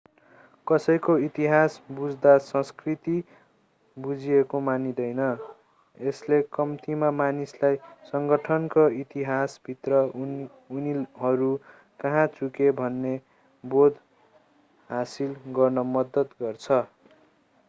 कसैको इतिहास बुझ्दा संस्कृति बुझिएको मानिँदैन यसले कम्तीमा मानिसलाई सङ्गठनको इतिहासभित्र उनीहरू कहाँ चुके भन्ने बोध हासिल गर्न मद्दत गर्छ